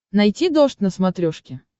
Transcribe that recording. найти дождь на смотрешке